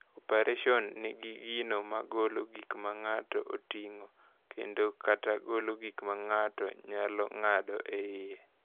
Operation nigi gino mar golo gik ma ng’ato oting’o kendo/kata golo gik ma ng’ato nyalo ng’ado e iye.